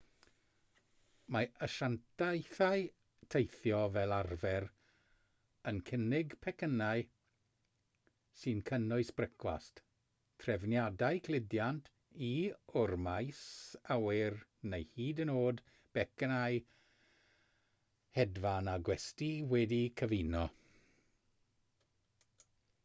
mae asiantaethau teithio fel arfer yn cynnig pecynnau sy'n cynnwys brecwast trefniadau cludiant i/o'r maes awyr neu hyd yn oed becynnau hedfan a gwesty wedi'u cyfuno